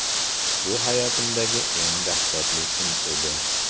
Bu hayotimdagi eng dahshatli kun edi.